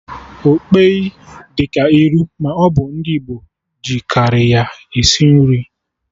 Okpeyi dị ka iru, ma ọ bụ ndị Igbo ji karị ya esi nri